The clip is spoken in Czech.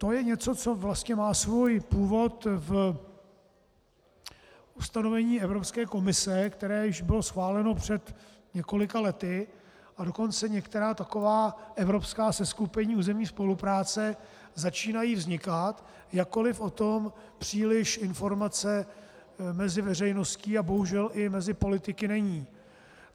To je něco, co vlastně má svůj původ v ustanovení Evropské komise, které již bylo schváleno před několika lety, a dokonce některá taková evropská seskupení územní spolupráce začínají vznikat, jakkoli o tom příliš informace mezi veřejností a bohužel i mezi politiky není.